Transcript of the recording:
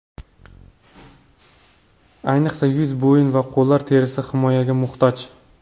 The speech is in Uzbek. Ayniqsa yuz, bo‘yin va qo‘llar terisi himoyaga muhtoj.